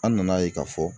An nana ye k'a fɔ